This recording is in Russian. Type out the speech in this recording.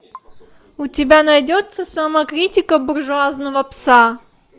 у тебя найдется самокритика буржуазного пса